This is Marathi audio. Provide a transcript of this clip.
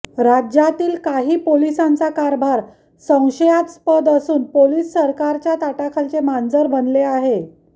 राज्यतील काही पोलिसांचा कारभार संशयस्पत असून पोलीस सरकारच्या ताटाखालचे मांजर बनले आहे